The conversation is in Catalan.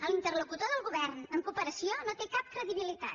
l’interlocutor del govern en cooperació no té cap credibilitat